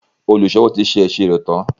oluṣowo tí ṣe iṣiro tán.